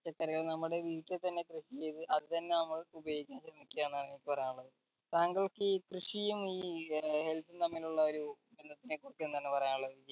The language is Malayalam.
പച്ചക്കറികൾ നമ്മടെ വീട്ടിൽ തന്നെ കൃഷി ചെയ്ത് അത് തന്നെ നമ്മൾ ഉപയോഗിക്കേണ്ട എന്നാണ് എനിക്ക് പറയാനുള്ളത് താങ്കൾക്ക് ഈ കൃഷിയും ഈ health ഉം തമ്മിലുള്ള ഒരു ബന്ധത്തിനെ കുറിച്ച് എന്താണ് പറയാനുള്ളത്